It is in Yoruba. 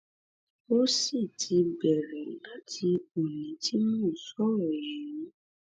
ó sì ti bẹrẹ láti ọni tí mò ń sọrọ yìí